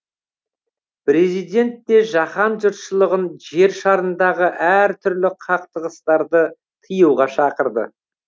президент те жаһан жұртшылығын жер шарындағы әр түрлі қақтығыстарды тыюға шақырды